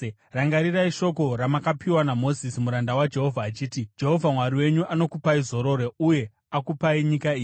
“Rangarirai shoko ramakapiwa naMozisi muranda waJehovha achiti: ‘Jehovha Mwari wenyu anokupai zororo uye akupai nyika iyi.’